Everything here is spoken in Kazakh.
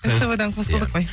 ств дан қосылдық қой